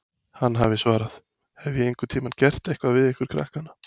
Hann hafi svarað: Hef ég einhvern tímann gert eitthvað við ykkur krakkana?